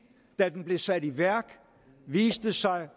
der da den blev sat i værk viste sig